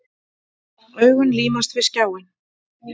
Augun límast við skjáinn.